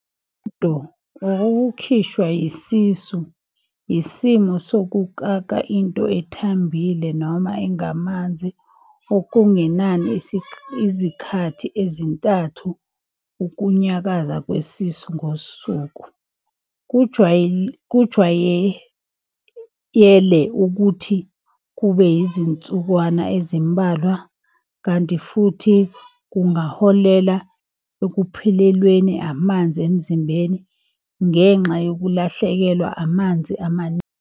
Uhudo or ukukhishwa yisisu yisimo sokukaka into ethambile noma engamanzi okungenani izikhathi ezintathu ukunyakaza kwesisu ngosuku. Kujwayele ukuthi kube yizinsukwana ezimbalwa kanti futhi kungaholela ekuphelelweni amanzi emzimbeni ngenxa yokulahlekelwa amanzi amaningi.